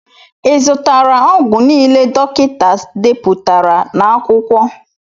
I zụtara ọgwụ niile dọkịta deputara n'akwụkwọ?